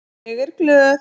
Ég er glöð.